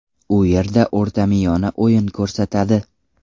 U yerda o‘rtamiyona o‘yin ko‘rsatadi.